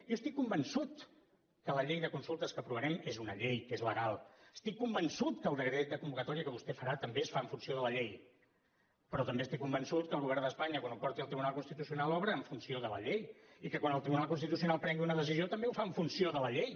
jo estic convençut que la llei de consultes que aprovarem és una llei que és legal estic convençut que el decret de convocatòria que vostè farà també es fa en funció de la llei però també estic convençut que el govern d’espanya quan ho porti al tribunal constitucional obrarà en funció de la llei i que quan el tribunal constitucional prengui una decisió també ho farà en funció de la llei